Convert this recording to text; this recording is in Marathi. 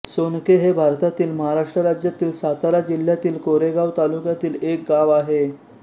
सोनके हे भारतातील महाराष्ट्र राज्यातील सातारा जिल्ह्यातील कोरेगाव तालुक्यातील एक गाव आहे